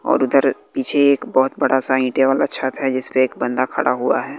और उधर पीछे एक बहोत बड़ा सा ईंटे वाला छत है जिसपे एक बंदा खड़ा हुआ है।